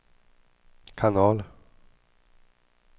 kanal